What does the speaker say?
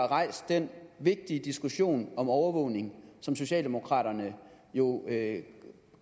rejst den vigtige diskussion om overvågning som socialdemokraterne jo med